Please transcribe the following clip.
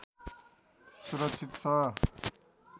सुरक्षित छ